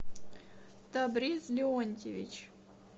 табриз леонтьевич